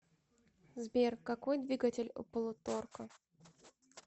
сбер какой двигатель у полуторка